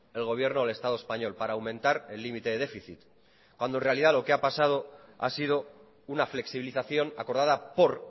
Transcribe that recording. el gobierno del estado español para aumentar el límite del déficit cuando en realidad lo que ha pasado ha sido una flexibilización acordada por